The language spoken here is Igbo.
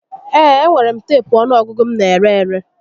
Ee, enwere m teepu ọnụọgụgụ m n'ere ere